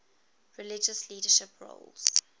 religious leadership roles